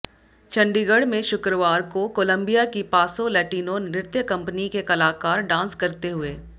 चंडीगढ़ में शुक्रवार को कोलंबिया की पासो लैटिनो नृत्य कंपनी के कलाकार डांस करते हुए